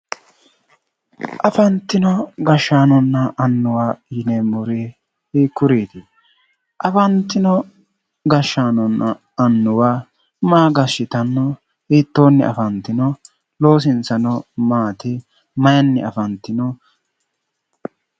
Afantino gashaanonna annuwa yineemori hiikkuriiti? Afantino gashaanonna annuwa maa gashitanno hiittonni afantino loosinsano maati maayiinni afantino?